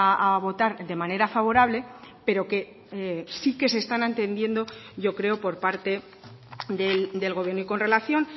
a votar de manera favorable pero que sí que se están atendiendo yo creo por parte del gobierno y con relación